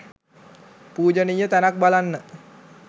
පූජනීය තැනක් බලන්න